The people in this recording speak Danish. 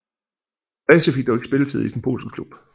Reese fik dog ikke spilletid i sin tid i den polske klub